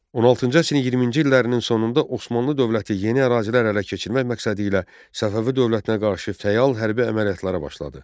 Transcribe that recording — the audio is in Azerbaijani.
16-cı əsrin 20-ci illərinin sonunda Osmanlı dövləti yeni ərazilər ələ keçirmək məqsədilə Səfəvi dövlətinə qarşı fəal hərbi əməliyyatlara başladı.